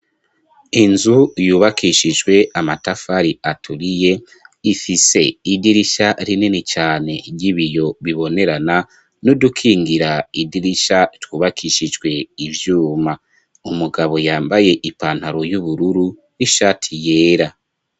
Inzu, yubakishijwe amatafari aturiye, ifise idirisha rinini cane ry'ibiyo bibonerana, nudukingira idirisha twubakishijwe ivyuma, umugabo yambaye ipantaro y'ubururu n'ishati yera.